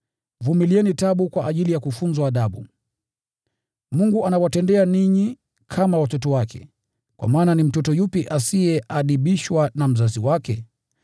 Vumilieni taabu kwa ajili ya kufunzwa adabu. Mungu anawatendea ninyi kama watoto wake, kwa maana ni mtoto yupi asiyeadibishwa na mzazi wake?